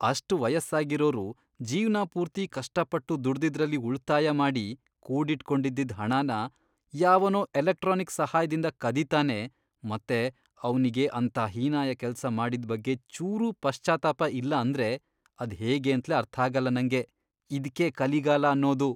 ಅಷ್ಟ್ ವಯಸ್ಸಾಗಿರೋರು ಜೀವ್ನಪೂರ್ತಿ ಕಷ್ಟಪಟ್ಟು ದುಡ್ದಿದ್ರಲ್ಲಿ ಉಳ್ತಾಯ ಮಾಡಿ ಕೂಡಿಟ್ಕೊಂಡಿದ್ದಿದ್ ಹಣನ ಯಾವನೋ ಎಲೆಕ್ಟ್ರಾನಿಕ್ ಸಹಾಯ್ದಿಂದ ಕದೀತಾನೆ ಮತ್ತೆ ಅವ್ನಿಗೆ ಅಂಥ ಹೀನಾಯ ಕೆಲ್ಸ ಮಾಡಿದ್ ಬಗ್ಗೆ ಚೂರೂ ಪಶ್ಚಾತ್ತಾಪ ಇಲ್ಲ ಅಂದ್ರೆ ಅದ್ಹೇಗೇಂತ್ಲೇ ಅರ್ಥಾಗಲ್ಲ ನಂಗೆ. ಇದ್ಕೇ ಕಲಿಗಾಲ ಅನ್ನೋದು!